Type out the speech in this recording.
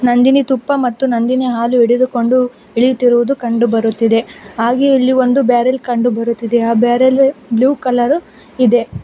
ನಂದಿನಿ ತುಪ್ಪ ಮತ್ತು ನಂದಿನಿ ಹಾಲು ಹಿಡಿದುಕೊಂಡು ಇಳಿತಿರೋದು ಕಂಡು ಬರುತ್ತಿದೆ ಹಾಗೆ ಇಲ್ಲಿ ಒಂದು ಬ್ಯಾರೆಲ್ ಕಂಡು ಬರುತ್ತಿದೆ ಆ ಬ್ಯಾರೆಲ್ ಬ್ಲೂ ಕಲರ್ ಇದೆ.